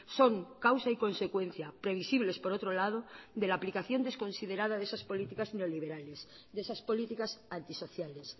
son causa y consecuencia previsibles por otro lado de la aplicación desconsiderada de esas políticas neoliberales de esas políticas antisociales